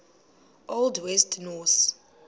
old west norse